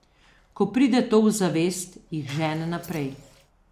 Ko pride to v zavest, jih žene naprej.